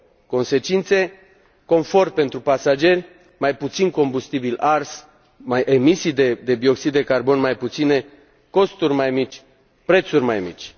Consecințe confort pentru pasageri, mai puțin combustibil ars, emisii de dioxid de carbon mai puține, costuri mai mici, prețuri mai mici.